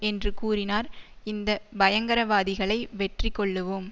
என்று கூறினார் இந்த பயங்கரவாதிகளை வெற்றிகொள்ளுவோம்